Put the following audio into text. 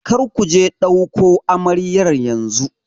Kar ku je ɗauko amaryar yanzu!